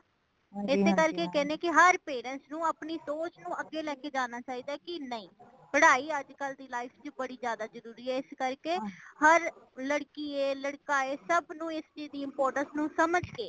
ਇਸੇ ਕਰਕੇ ਕਹਿੰਦੇ ਨੇ ਕਿ ਹਰ parents ਨੂੰ ਅਪਣੀ ਸੋਚ ਨੂੰ ਅਗੇ ਲੈਕੇ ਜਾਨਾ ਚਾਹੀਦਾ, ਕੀ ਨਹੀਂ ਪੜ੍ਹਾਈ ਅੱਜ ਕਲ ਦੀ life ਵਿੱਚ ਬੜੀ ਜ਼ਿਆਦਾ ਜਰੂਰੀ ਏ। ਇਸ ਕਰ ਕੇ ਹਰ ਲੜਕੀ ਏ ਲੜਕਾ ਏ ਸਬ ਨੂੰ ਇਸਦੀ importance ਨੂੰ ਸਮਜ ਕੇ